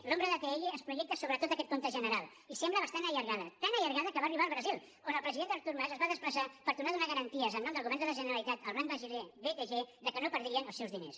l’ombra d’atll es projecta sobre tot aquest compte general i sembla bastant allargada tan allargada que va arribar al brasil on el president artur mas es va desplaçar per tornar a donar garanties en nom del govern de la generalitat al banc brasiler btg que no perdrien els seus diners